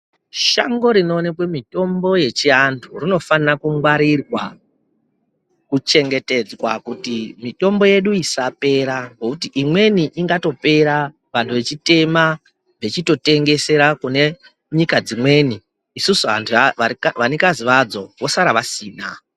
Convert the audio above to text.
Shango rinoonekwe mitombo yechiantu rinofana kungwarirwa kuchengetedzwa kuti mitombo yedu isapera ngekuti imweni ingatopera vantu vechitema vechitotengesera kunenyika dzimweni isusu vanikazi vadzo vosara vasina.